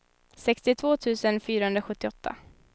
sextiotvå tusen fyrahundrasjuttioåtta